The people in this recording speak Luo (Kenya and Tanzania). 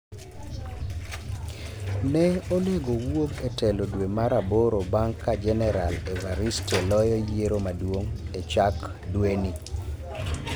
Ne onego owuog e telo dwe mar aboro bang ka genaral Evariste loyo yiero maduong' e chak dweni